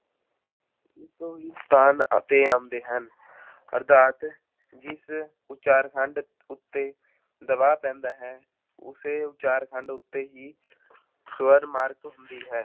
ਇੱਕੋ ਹੀ ਸਥਾਨ ਉੱਤੇ ਆਉਂਦੇ ਹਨ ਅਰਥਾਤ ਜਿਸ ਉਚਾਰਖੰਡ ਉੱਤੇ ਦਬਾਅ ਪੈਂਦਾ ਹੈ, ਉਸੇ ਉਚਾਰਖੰਡ ਉੱਤੇ ਹੀ ਸਵਰ ਮਾਰਕ ਹੁੰਦੀ ਹੈ।